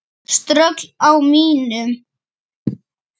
Ströggl á mínum?